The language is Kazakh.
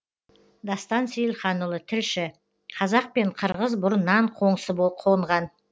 дастан сейілханұлы тілші қазақ пен қырғыз бұрыннан қоңсы қонған